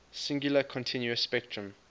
singular continuous spectrum